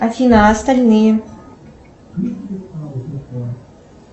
афина а остальные